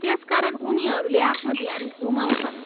त्यसकारण उनीहरूले आफ्नो ध्यान गुमाउँछन्।